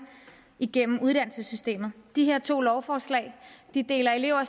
igennem uddannelsessystemet de her to lovforslag deler elever